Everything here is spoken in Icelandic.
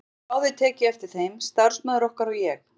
Við höfðum báðir tekið eftir þeim, starfsmaður okkar og ég.